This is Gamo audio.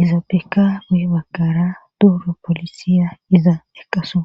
izaapeka me'bakara duuro polisiya iza eqaso.